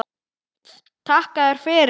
Takka þér fyrir